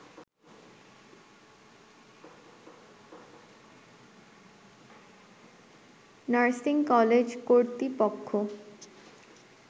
nursing কলেজকর্তৃপক্ষ